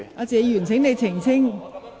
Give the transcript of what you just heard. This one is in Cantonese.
謝議員，請你澄清。